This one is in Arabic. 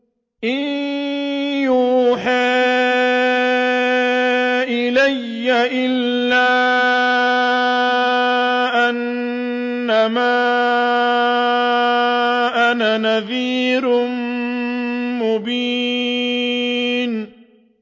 إِن يُوحَىٰ إِلَيَّ إِلَّا أَنَّمَا أَنَا نَذِيرٌ مُّبِينٌ